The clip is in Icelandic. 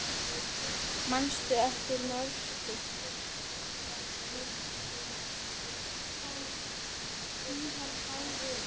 Manstu eftir Mörtu?